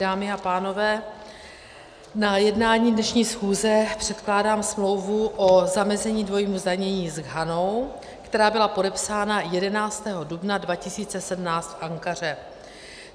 Dámy a pánové, na jednání dnešní schůze předkládám smlouvu o zamezení dvojímu zdanění s Ghanou, která byla podepsána 11. dubna 2017 v Ankaře.